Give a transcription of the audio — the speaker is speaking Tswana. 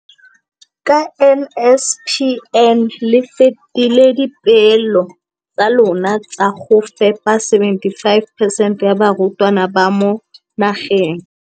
Ka NSNP le fetile dipeelo tsa lona tsa go fepa masome a supa le botlhano a diperesente ya barutwana ba mo nageng.